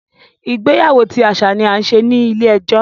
Ìgbéyàwó ti aṣa ni a ń ṣe ni ile-ẹjọ.